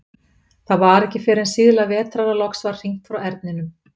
Það var ekki fyrr en síðla vetrar að loks var hringt frá Erninum.